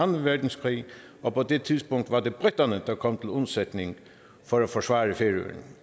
verdenskrig og på det tidspunkt var det briterne der kom til undsætning for at forsvare færøerne